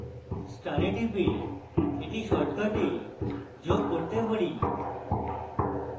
star টিপে আমি এটি shortcuts যোগ করতে পারি